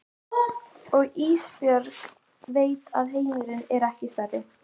Og Ísbjörg veit að heimurinn er ekki stærri.